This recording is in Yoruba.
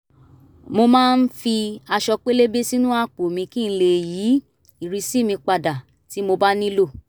mo máa ń fi aṣọ pélébé sínú àpò mi kí n lè yí ìrísí mi padà tí mo bá nílò